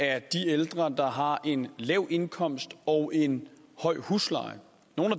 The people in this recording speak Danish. er de ældre der har en lav indkomst og en høj husleje